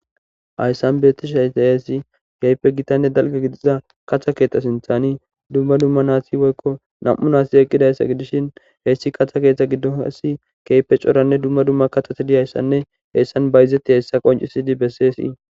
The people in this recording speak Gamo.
Hayssan bettishe hayaheesi geype gitanne dalga gidiza katha keetxa sinthani dumma dumma naati woykko nam7u naasi eqqidayssa gidishin heyssi katha keeththa giddon hasi keype coranne dumma dumma katatidi ayssanne heyssan bayzetti hessa qoncisidi besseesii